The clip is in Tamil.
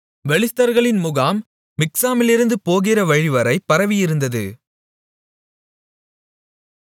பெலிஸ்தர்களின் முகாம் மிக்மாசிலிருந்து போகிற வழிவரை பரவியிருந்தது